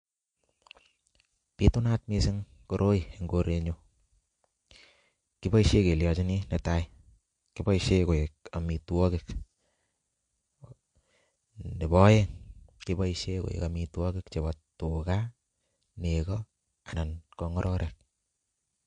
Pitunat missing koroi en korenyun koboishen kelyonjinii netai kiboishen koik omitwokik, nebo oeng keboishen koik omitwokik chebo tugaa, nekoo anan ko ngororik.